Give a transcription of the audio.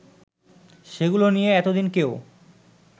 সেগুলো নিয়ে এতদিন কেউ